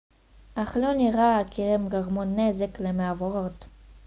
אך לא נראה כי הם גרמו נזק למעבורת